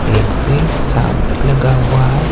एक पेड़ सामने लगा हुआ है।